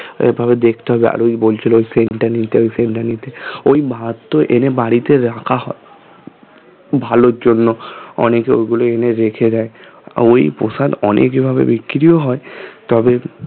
ওইভাবে দেখতে হবে আর ওই বলছিলো scent টা নিতে scent টা নিতে ওই ভাত তো এনে বাড়িতে রাখা হয় ভালোর জন্য অনেকে ওগুলো এনে রেখে দেয় আর ওই প্রসাদ অনেক এভাবে বিক্রিও হয় তবে